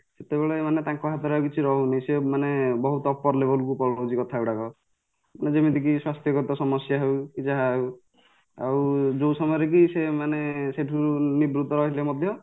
ସେତେବେଳେ ମାନେ ତାଙ୍କ ହାତରେ ଆଉ କିଛି ରହୁନି ସେ ମାନେ ବହୁତ upper levelକୁ ପଳାଉଛି କଥା ଗୁଡାକ ଯେମିତିକି ସ୍ୱାସ୍ଥ୍ୟ ଗତ ସମସ୍ୟା ହଉ ଯାହା ହଉ ଆଉ ଯୋଉ ସମୟରେକି ସେ ମାନେ ସେଠୁ ନିବୃତ ରହିଲେ ମଧ୍ୟ